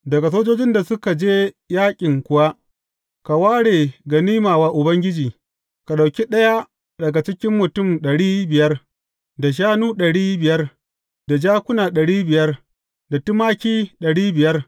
Daga sojojin da suka je yaƙin kuwa, ka ware ganima wa Ubangiji, ka ɗauki ɗaya daga cikin mutum ɗari biyar, da shanu ɗari biyar, da jakuna ɗari biyar, da tumaki ɗari biyar.